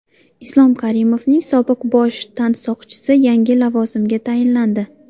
Islom Karimovning sobiq bosh tansoqchisi yangi lavozimga tayinlandi .